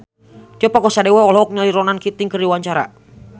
Tio Pakusadewo olohok ningali Ronan Keating keur diwawancara